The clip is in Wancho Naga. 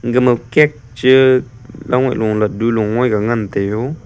gama cake che laddu low aak ga ngan tega.